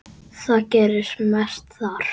Það gerist mest þar.